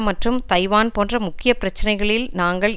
மற்றும் தைவான் போன்ற முக்கிய பிரச்சனைகளில் நாங்கள்